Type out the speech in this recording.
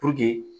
Puruke